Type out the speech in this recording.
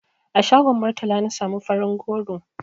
A shagon Murtala na samu farin goro.